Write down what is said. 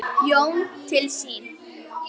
Jón til sín.